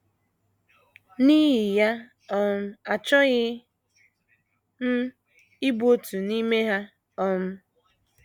N’ihi ya, um achọghị m ịbụ otu n’ime ha! um